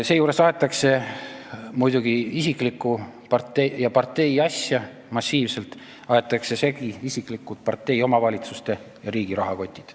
Seejuures aetakse massiivselt muidugi isiklikku ja partei asja, aetakse segi isiklikud, partei, omavalitsuste ja riigi rahakotid.